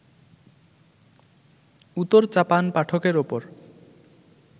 উতোর-চাপান পাঠকের ওপর